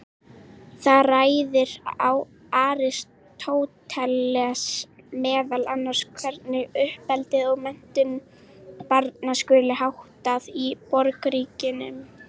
Þar ræðir Aristóteles meðal annars hvernig uppeldi og menntun barna skuli háttað í borgríkinu.